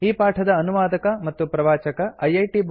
ಈ ಪಾಠದ ಅನುವಾದಕ ಮತ್ತು ಪ್ರವಾಚಕ ಐಐಟಿ